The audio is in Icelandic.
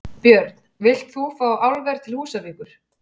Björn: Vilt þú fá álver til Húsavíkur?